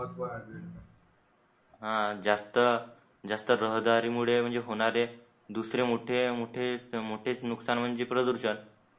हा जास्त जास्त रहदारी मुळे होणारे दुसरे मोठे मोठे मोठेच मोठेच नुकसान म्हणजे प्रदूषण